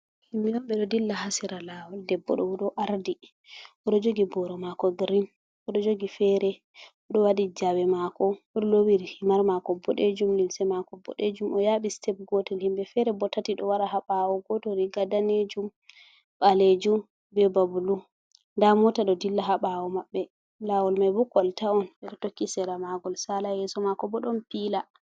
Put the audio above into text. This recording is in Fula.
Himɓe on ɓe ɗo dilla haa sera laawol, debbo ɗo o ɗo ardi, o ɗo jogi booro maako girin, o ɗo jogi feere, o ɗo waɗi jawe maako, o do loowi himar maako boɗeejum, limse maako boɗeejum, o yaaɓi sitep gootel, himɓe feere bo tati, ɗo wara haa baawo, gooto riiga daneejum, ɓaleejum, be ba bulu, nda moota ɗo dilla haa ɓaawo maɓɓe, laawol may bo kolta on, ɓe tokki sera maagol saala, yeeso maako bo ɗon piiila.